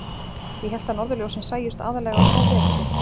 . ég hélt að norðurljósin sæjust aðallega um hávetur.